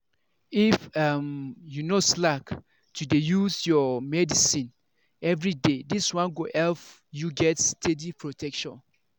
if um you no slack to dey use your medicines everyday this one go help you get steady protection.